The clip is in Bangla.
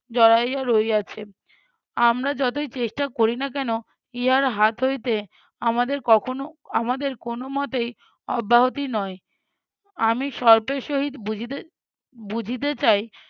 জড়াইয়া রইয়াছে। আমরা যতই চেষ্টা করি না কেনো ইহার হাত হইতে আমাদের কখনো আমাদের কোনোমতেই অব্যাহতি নয়। আমি সহিত বুঝিত~ বুঝিতে চাই